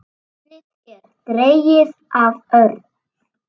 Nafnið er dregið af örn.